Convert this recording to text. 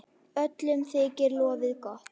Öllum þykir lofið gott.